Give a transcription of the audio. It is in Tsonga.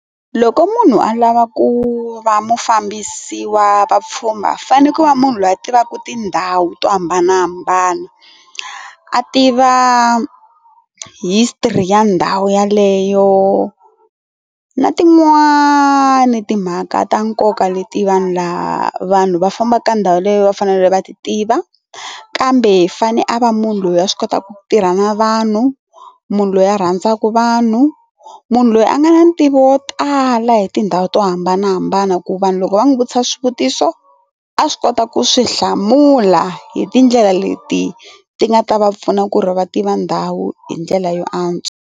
Loko munhu a lava ku va mufambisi wa vapfhumba fanele ku va munhu loyi a tivaka tindhawu to hambanahambana, a tiva history ya ndhawu yaleyo na tin'wani timhaka ta nkoka leti vanhu laha vanhu va fambaka ka ndhawu leyi va fanele va ti tiva kambe fane a va munhu loyi a swi kota ku tirha na vanhu, munhu loyi a rhandzaka vanhu, munhu loyi a nga na ntivo wo tala hi tindhawu to hambanahambana ku vanhu loko va n'wi vutisa swivutiso a swi kota ku swi hlamula hi tindlela leti ti nga ta va pfuna ku ri va tiva ndhawu hi ndlela yo antswa.